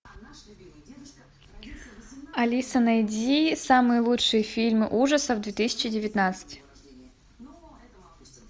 алиса найди самые лучшие фильмы ужасов две тысячи девятнадцать